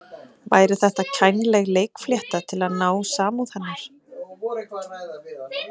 Væri þetta kænleg leikflétta til að ná samúð hennar?